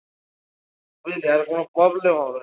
তুই দেখ কোনো problem হবে না